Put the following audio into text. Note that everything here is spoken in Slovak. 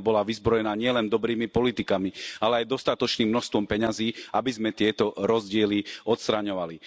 bola vyzbrojená nielen dobrými politikami, ale aj dostatočným množstvom peňazí, aby sme tieto rozdiely odstraňovali.